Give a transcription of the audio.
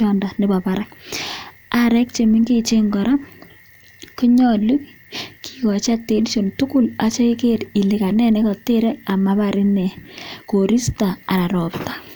kora keripee maroponchii